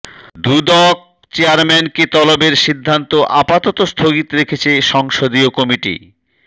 দুদক চেয়ারম্যানকে তলবের সিদ্ধান্ত আপাতত স্থগিত রেখেছে সংসদীয় কমিটি